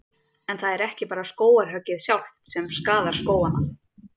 En það er ekki bara skógarhöggið sjálft sem skaðar skógana.